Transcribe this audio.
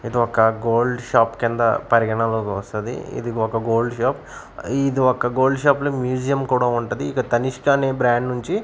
ఇది ఒక gold shop కింద పరిగణలోకి వస్తది ఇది ఒక గోల్డ్ షాప్ ఇది ఒక గోల్డ్ షాప్ లో మ్యూజియం కూడా ఉంటది ఇక తనిష్క అనే బ్రాండ్ నుంచి--